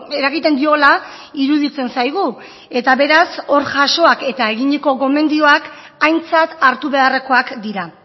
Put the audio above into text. eragiten diola iruditzen zaigu eta beraz hor jasoak eta eginiko gomendioak aintzat hartu beharrekoak dira